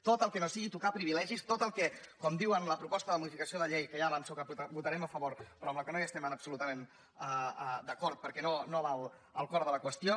tot el que no sigui tocar privilegis tot el que com diuen en la proposta de modificació de la llei que ja avanço que votarem a favor però amb la qual no es·tem absolutament d’acord perquè no va al cor de la qüestió